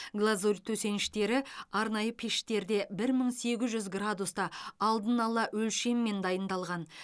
глазурь төсеніштері арнайы пештерде бір мың сегіз жүз градуста алдын ала өлшеммен дайындалған